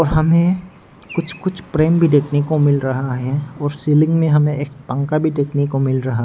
हमें कुछ कुछ प्रेम भी देखने को मिल रहा है और सीलिंग में हमें एक पंखा भी देखने को मिल रहा है।